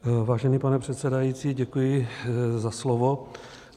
Vážený pane předsedající, děkuji za slovo.